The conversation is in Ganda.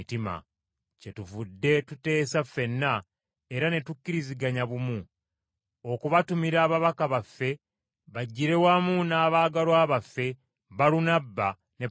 Kyetuvudde tuteesa ffenna, era ne tukkiriziganya bumu, okubatumira ababaka baffe bajjire wamu n’abaagalwa baffe, Balunabba ne Pawulo,